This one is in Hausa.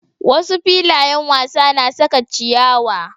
Wasu filayen wasa na saka ciyawa.